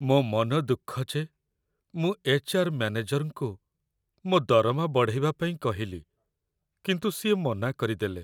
ମୋ' ମନ ଦୁଃଖ ଯେ ମୁଁ ଏଚ୍.ଆର୍. ମ୍ୟାନେଜରଙ୍କୁ ମୋ' ଦରମା ବଢ଼େଇବା ପାଇଁ କହିଲି, କିନ୍ତୁ ସିଏ ମନା କରିଦେଲେ ।